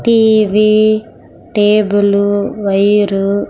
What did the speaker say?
TV table wire .